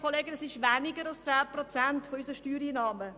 Das sind weniger als 10 Prozent unserer Steuereinnahmen.